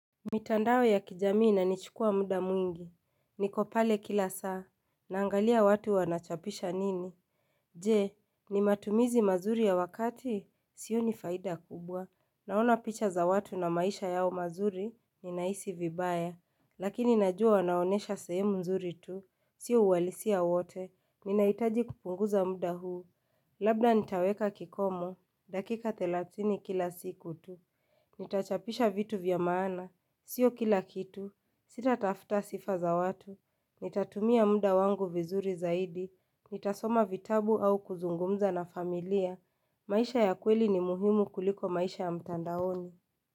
Mitandao ya kijamii ina nichukua muda mwingi Nikopale kila saa Naangalia watu wanachapisha nini Je, ni matumizi mazuri ya wakati Sioni faida kubwa Naona picha za watu na maisha yao mazuri Ninahisi vibaya Lakini najua wanaonyesha sehemu nzuri tu Sio uhalisia wowote Ninahitaji kupunguza muda huu Labda nitaweka kikomo dakika telathini kila siku tu Nitachapisha vitu vyamaana Sio kila kitu, sitatafuta sifa za watu, nitatumia muda wangu vizuri zaidi, nitasoma vitabu au kuzungumza na familia, maisha ya kweli ni muhimu kuliko maisha ya mtandaoni.